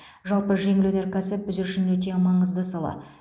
жалпы жеңіл өнеркәсіп біз үшін өте маңызды сала